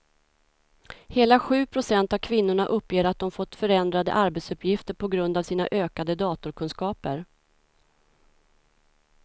Hela sju procent av kvinnorna uppger att de fått förändrade arbetsuppgifter på grund av sina ökade datorkunskaper.